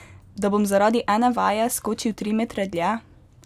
Da bom zaradi ene vaje skočil tri metre dlje?